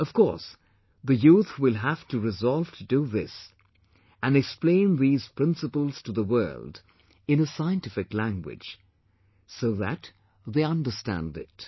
Of course, the youth will have to resolve to do this and explain these principles to the world in a scientific language, so that they understand it